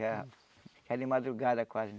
Já era de madrugada quase.